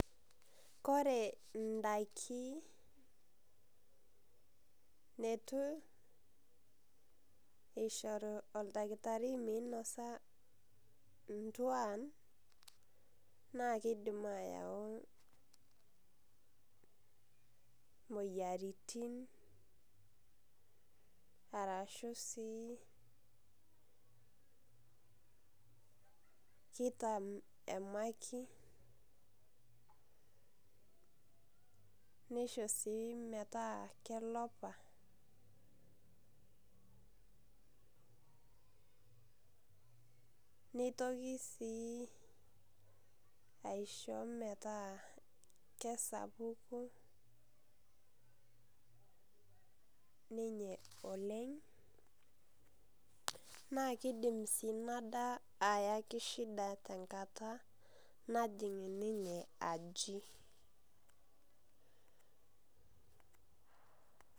Kore idaiki netu oshoru oldakitari minosa intuan, naa kidim ayau moyiaritin arashu si kita emakit, nisho si metaa kelopa, nitoki si aisho metaa kesapuku ninye oleng, na kidim si inadaa ayaki shida tenkata najing' ninye aji.